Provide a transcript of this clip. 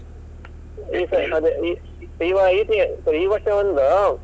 ಈ ಸರಿ ಅದೇ ಈ ಈ ವ~ sorry ಈ ವರ್ಷ ಒಂದು,